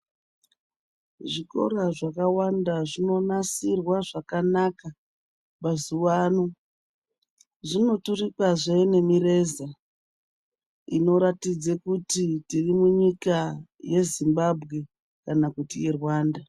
Zvikora zvakawanda zvinonasirwa zvakanaka mazuwa ano. Zvinoturikwazve nemireza inoratidze kuti tiri munyika yeZimbabwe kana kuti yeRwanda.